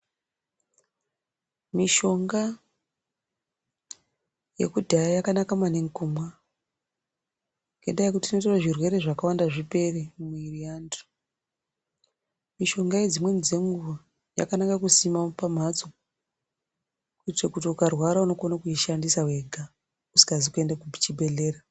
Mishonga yekudhaya yakanaka maningi kumwa, ngendaa yekuti tino zviro zvirwere zvakawanda zvipere mumwiri yeantu. Mishonga iyi dzimweni dzenguwa yakanaka kusima pamhatso, kuitire kuti ukarwara unokone kuishandisa wega, usikazi kuende kuchibhedhlera .